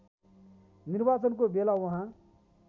निर्वाचनको बेला उहाँ